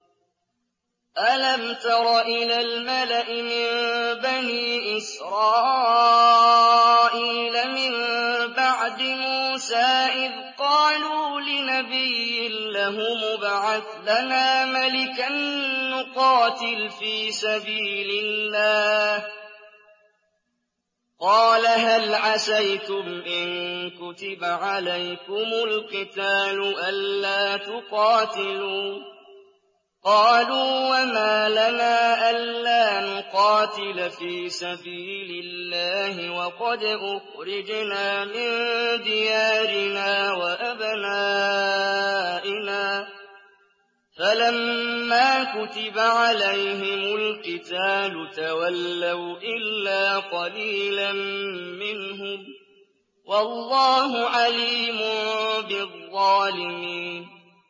أَلَمْ تَرَ إِلَى الْمَلَإِ مِن بَنِي إِسْرَائِيلَ مِن بَعْدِ مُوسَىٰ إِذْ قَالُوا لِنَبِيٍّ لَّهُمُ ابْعَثْ لَنَا مَلِكًا نُّقَاتِلْ فِي سَبِيلِ اللَّهِ ۖ قَالَ هَلْ عَسَيْتُمْ إِن كُتِبَ عَلَيْكُمُ الْقِتَالُ أَلَّا تُقَاتِلُوا ۖ قَالُوا وَمَا لَنَا أَلَّا نُقَاتِلَ فِي سَبِيلِ اللَّهِ وَقَدْ أُخْرِجْنَا مِن دِيَارِنَا وَأَبْنَائِنَا ۖ فَلَمَّا كُتِبَ عَلَيْهِمُ الْقِتَالُ تَوَلَّوْا إِلَّا قَلِيلًا مِّنْهُمْ ۗ وَاللَّهُ عَلِيمٌ بِالظَّالِمِينَ